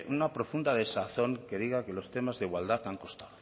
una profunda desazón que diga que los temas de igualdad han costado